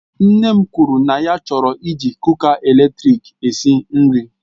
Nne m kwuru na ya chọrọ iji kuka eletrik esi nri